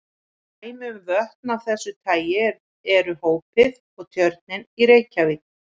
Dæmi um vötn af þessu tagi eru Hópið og Tjörnin í Reykjavík.